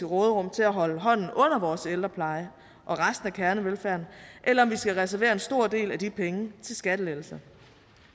råderum til at holde hånden under vores ældrepleje og resten af kernevelfærden eller om vi skal reservere en stor del af de penge til skattelettelser